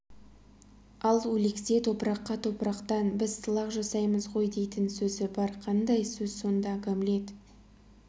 ал өлексе топыраққа топырақтан біз сылақ жасаймыз ғой дейтін сөзі бар қандай сөз сонда гамлет